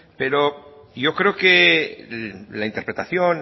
pero yo creo que la interpretación